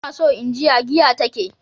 Ina son in ji ya giya ta ke.